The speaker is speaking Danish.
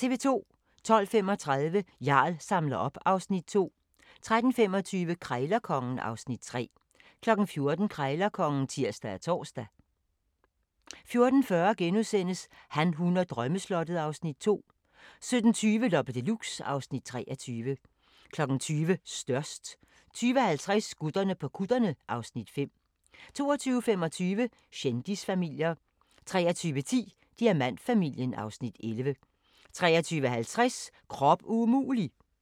12:35: Jarl samler op (Afs. 2) 13:25: Krejlerkongen (Afs. 3) 14:00: Krejlerkongen (tir og tor) 14:40: Han, hun og drømmeslottet (Afs. 2)* 17:20: Loppe Deluxe (Afs. 23) 20:00: Størst 20:50: Gutterne på kutterne (Afs. 5) 22:25: Kendisfamilier 23:10: Diamantfamilien (Afs. 11) 23:50: Krop umulig!